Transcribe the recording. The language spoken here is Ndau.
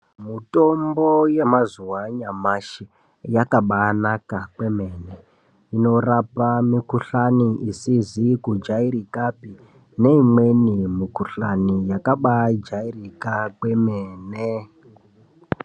Mutombo yemazuwa anyamashi yakabanaka kwemene inorapa mikhuhlani isizi kujairikapi neimweni mukhuhlani yakabaijairika kwemene.